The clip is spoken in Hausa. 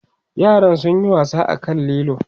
yaran sun Yi wasa a kan lilo